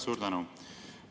Suur tänu!